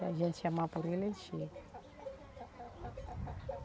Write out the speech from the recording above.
E a gente chamar por ele, ele chega.